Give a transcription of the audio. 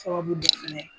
Sababu dɔ fɛnɛ ye